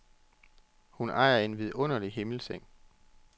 Hun ejer en vidunderlig himmelseng.